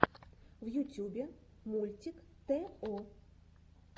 в ютьюбе мультик тэ о